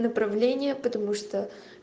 направление потому что